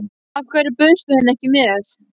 Af hverju bauðstu henni ekki með?